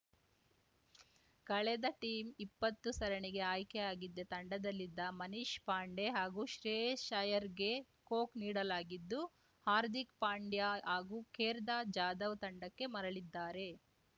ಕಳೆದ ಟೀಮ್ ಇಪ್ಪತ್ತು ಸರಣಿಗೆ ಆಯ್ಕೆಯಾಗಿದ್ದ ತಂಡದಲ್ಲಿದ್ದ ಮನೀಶ್‌ ಪಾಂಡೆ ಹಾಗೂ ಶ್ರೇಯಸ್‌ ಅಯ್ಯರ್‌ಗೆ ಕೊಕ್‌ ನೀಡಲಾಗಿದ್ದು ಹಾರ್ದಿಕ್‌ ಪಾಂಡ್ಯ ಹಾಗೂ ಕೇರ್ದಾ ಜಾಧವ್‌ ತಂಡಕ್ಕೆ ಮರಳಿದ್ದಾರೆ